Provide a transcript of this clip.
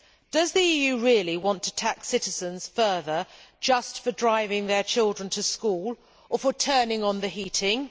Does the EU really want to tax citizens further just for driving their children to school or for turning on the heating?